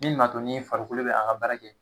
Min man to nin farikolo bɛ an ka baara kɛ.